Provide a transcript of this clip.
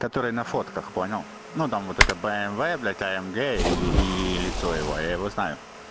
который на фотках понял ну там вот это бмв блядь амг или ии лицо его я его знаю